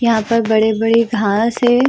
यहाँ पर बड़े-बड़े घास हैं।